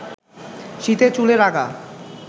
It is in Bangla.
শীতে চুলের আগা